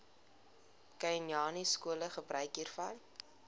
khanyaskole gebruik hiervan